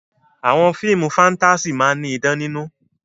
Àwọn fíìmù fáńtásì máa ní idán nínú.